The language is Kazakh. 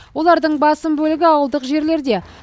олардың басым бөлігі ауылдық жерлерде